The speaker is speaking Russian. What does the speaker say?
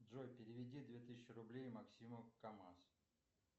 джой переведи две тысячи рублей максиму камаз